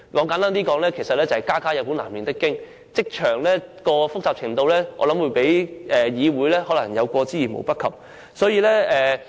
簡單而言，就是家家有本難唸的經，職場發生的事情的複雜程度，可能較議會有過之而無不及。